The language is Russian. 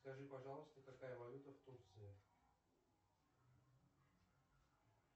скажи пожалуйста какая валюта в турции